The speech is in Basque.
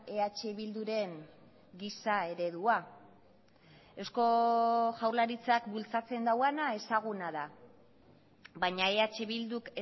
eh bilduren giza eredua eusko jaurlaritzak bultzatzen duena ezaguna da baina eh bilduk